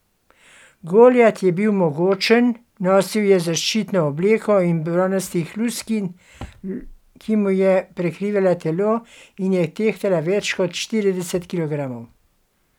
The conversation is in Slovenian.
Goljat je bil mogočen, nosil je zaščitno obleko iz bronastih luskin, ki mu je prekrivala telo in je tehtala več kot štirideset kilogramov.